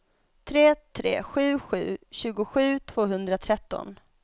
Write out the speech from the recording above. tre tre sju sju tjugosju tvåhundratretton